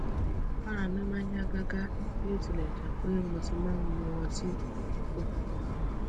ara mi n ya gaga biotilejepe mo ti ma n mu oti pupo